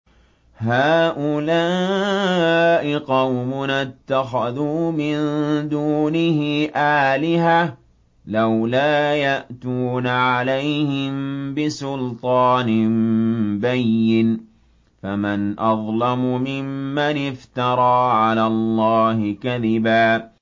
هَٰؤُلَاءِ قَوْمُنَا اتَّخَذُوا مِن دُونِهِ آلِهَةً ۖ لَّوْلَا يَأْتُونَ عَلَيْهِم بِسُلْطَانٍ بَيِّنٍ ۖ فَمَنْ أَظْلَمُ مِمَّنِ افْتَرَىٰ عَلَى اللَّهِ كَذِبًا